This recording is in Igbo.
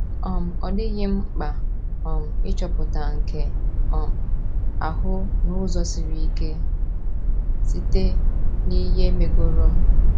um Ọ dịghị m mkpa um ịchọpụta nke um ahụ n’ụzọ siri ike — site n’ihe megoro m. ”